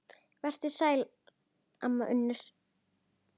Vertu sæl, amma Unnur.